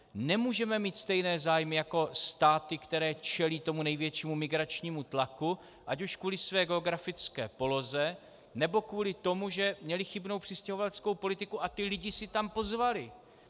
Nemůžeme mít stejné zájmy jako státy, které čelí tomu největšímu migračnímu tlaku ať už kvůli své geografické poloze, nebo kvůli tomu, že měly chybnou přistěhovaleckou politiku a ty lidi si tam pozvaly.